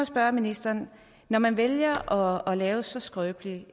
spørge ministeren når man vælger at lave et så skrøbeligt